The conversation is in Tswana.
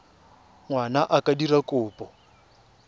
ngwana a ka dira kopo